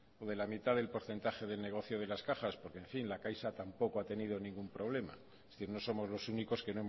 o de la mitad del porcentaje del negocio de las cajas porque en fin la caixa tampoco ha tenido ningún problema que no somos los únicos